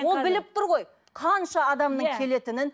ол біліп тұр ғой қанша адамның келетінін